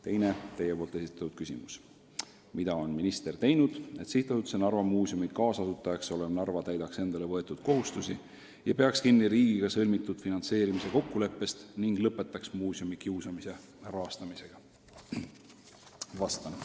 Teine teie esitatud küsimus: "Mida on minister teinud, et Sihtasutuse Narva Muuseum kaasasutajaks olev Narva linn täidaks endale võetud kohustusi ja peaks kinni riigiga sõlmitud finantseerimise kokkuleppest ning lõpetaks muuseumi kiusamise rahastamisega?